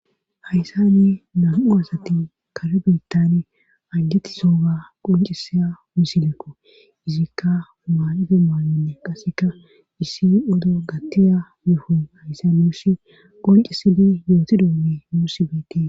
Hayssani nam7u asati kala birttan ajjatti sooga qoncisaa wisileko izikka maaqite maanonne qaseka issi odo gattiya mefu hayssalosh qonci sili yooti doomi muussi beeti.